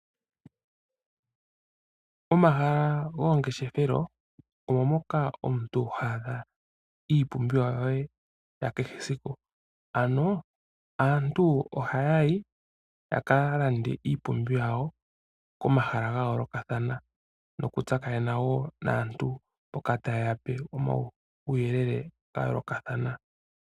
Omahala gomangeshefela omo moka omuntu ha adha iipumbiwa ye yesiku kehe. Ano aantu ohaa yi yaka konge iipumbiwa yawo komahala ga yoolokathana, yo taa tsakanene naantu mboka taye yape omauyelele ga yoolokathana.